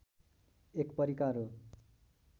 एक परिकार हो